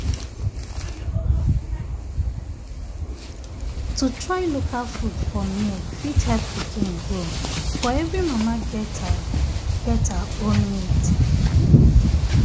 to try local food for um milk fit help pikin grow but every mama get her get her own need.